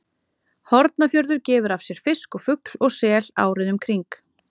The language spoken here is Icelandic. Hornafjörður gefur af sér fisk og fugl og sel árið um kring.